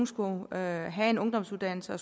skulle have en ungdomsuddannelse og